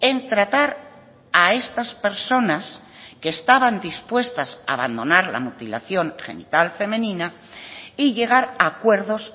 en tratar a estas personas que estaban dispuestas a abandonar la mutilación genital femenina y llegar a acuerdos